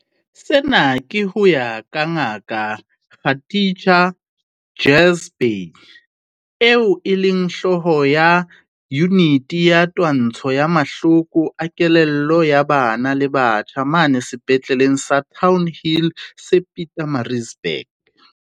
Sena ke ho ya ka Ngaka Khatija Jhazbhay, eo e leng hlooho ya Yuniti ya Twantsho ya Mahloko a Kelello ya Bana le Batjha mane Sepetleleng sa Townhill se Pietermaritzburg.